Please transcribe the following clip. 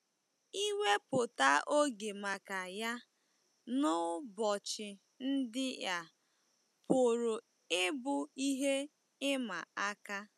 Iwepụta oge maka ya n’ụbọchị ndị a pụrụ ịbụ ihe ịma aka.